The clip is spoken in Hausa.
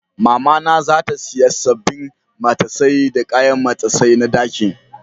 Mama na za ta siya sabbin matasai da kayan matasai na ɗakin.